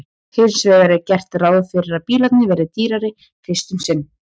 hins vegar er gert ráð fyrir að bílarnir verði dýrari fyrst um sinn